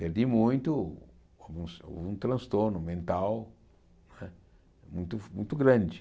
Perdi muito, houve um transtorno mental né muito fo muito grande.